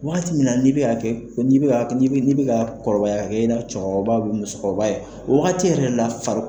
Wagati min na n'i bɛ ka kɛ, ko n'i bɛ ka, n'i bɛ, n'i bɛ, n'i bɛ ka kɔrɔbaya ka kɛ, i n'a cɛkɔrɔba bɛ musokɔrɔba ye, o wagati yɛrɛ la fari